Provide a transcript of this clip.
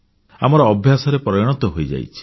ଆମର ଅଭ୍ୟାସରେ ପରିଣତ ହୋଇଯାଇଛି